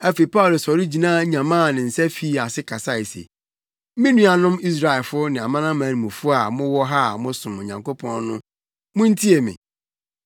Afei Paulo sɔre gyina nyamaa ne nsa fii ase kasae se, “Me nuanom Israelfo ne amanamanmufo a mowɔ ha a mosom Onyankopɔn no muntie me!